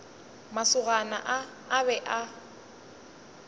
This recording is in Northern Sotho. masogana a a be a